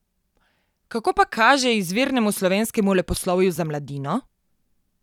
Kako pa kaže izvirnemu slovenskemu leposlovju za mladino?